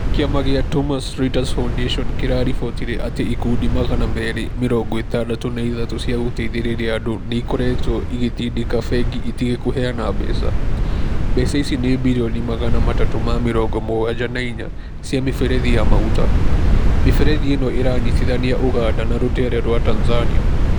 Kĩama kĩa Thomas Reuters Foundation kĩraribotire atĩ ikundi magana meerĩ mĩrongo ĩtandatũ na ithatũ cia gũteithĩrĩria andũ nĩ ikoretwo igĩtĩndĩka bengi itige kũheana mbeca. Mbeca ici ni birioni magana matatũ ma mĩrongo mũgwanja na inya cia mĩberethi ya maguta. Mĩberethi ĩno iranyitithania Ũganda na rũteere rwa Tanzania.